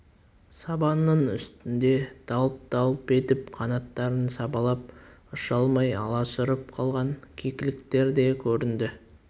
сабанның үстінде далп-далп етіп қанаттарын сабалап ұша алмай аласұрып қалған кекіліктер де көрінді